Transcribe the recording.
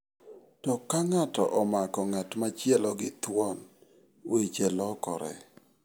To ka ng'ato omako ng'at machielo gi thuon, weche lokore.